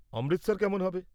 অমৃতসর কেমন হবে?